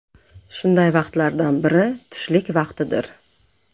Shunday vaqtlardan biri – tushlik vaqtidir.